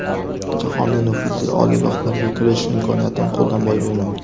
Jahonning nufuzli oliygohlariga kirish imkoniyatini qo‘ldan boy bermang.